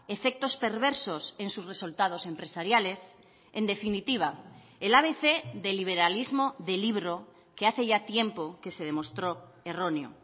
efectos perversos en sus resultados empresariales en definitiva el abc del liberalismo de libro que hace ya tiempo que se demostró erróneo